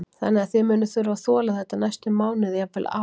Þannig að þið munið þurfa að þola þetta næstu mánuði, jafnvel ár?